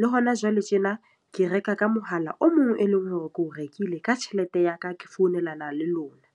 Le hona jwale tjena ke reka ka mohala o mong e leng hore ke o rekile ka tjhelete ya ka. Ke founelana le lona.